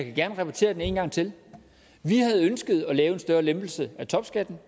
gerne repetere det en gang til vi havde ønsket at lave en større lempelse af topskatten